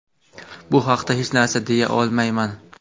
Bu haqda hech narsa deya olmayman.